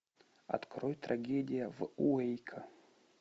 открой трагедия в уэйко